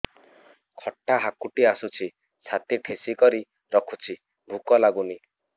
ଖଟା ହାକୁଟି ଆସୁଛି ଛାତି ଠେସିକରି ରଖୁଛି ଭୁକ ଲାଗୁନି